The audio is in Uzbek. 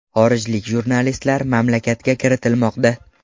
Xorijlik jurnalistlar mamlakatga kiritilmoqda.